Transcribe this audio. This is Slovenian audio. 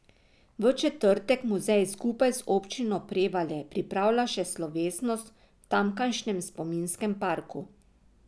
V četrtek muzej skupaj z Občino Prevalje pripravlja še slovesnost v tamkajšnjem spominskem parku.